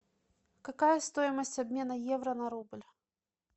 какая стоимость обмена евро на рубль